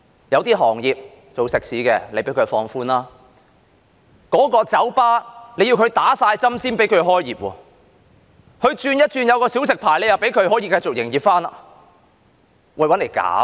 有些行業經營食肆，獲放寬限制，酒吧卻要全部員工打了針才可營業，但只要轉為持小食牌，又可以繼續營業。